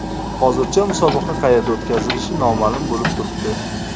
Hozircha musobaqa qayerda o‘tkazilishi noma’lum bo‘lib turibdi.